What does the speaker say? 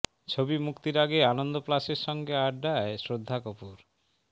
ছবি মুক্তির আগে আনন্দ প্লাসের সঙ্গে আড্ডায় শ্রদ্ধা কপূর